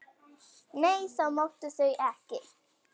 Nei, það máttu þau ekki.